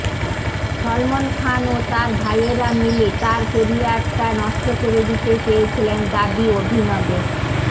সলমন খান ও তার ভাইয়েরা মিলে তার কেরিয়ারটা নষ্ট করে দিতে চেয়েছিলেন দাবি অভিনবের